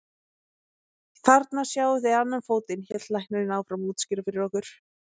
Þarna sjáið þið annan fótinn, hélt læknirinn áfram að útskýra fyrir okkur.